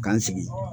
K'an sigi